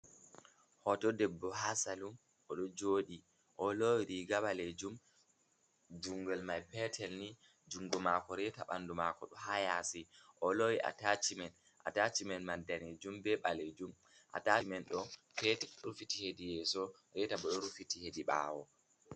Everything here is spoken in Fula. Hoto debbo haa salun. Oɗo jooɗi oɗo loowi riga ɓalejum jungel mai peetel ni. Jungo maako, reeta bandu mako ɗo haa yaasi. Oɗo loowi atachimen, atachimen mai daneejum bee ɓalejum. Atachimen ɗo petel rufiti heedi yeeso, reeta bo ɗo rufiti heedi ɓawo.